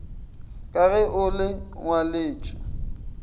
ka ge o le ngwaletšwe